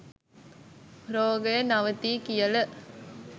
රෝගය නවතියි කියල